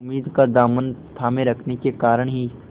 उम्मीद का दामन थामे रखने के कारण ही